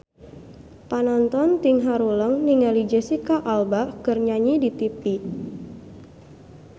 Panonton ting haruleng ningali Jesicca Alba keur nyanyi di tipi